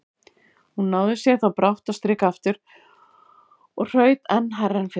Hún náði sér þó brátt á strik aftur og hraut enn hærra en fyrr.